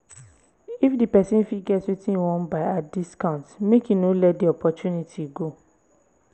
if di person fit get wetin im wan buy at discount make im no let the opportunity go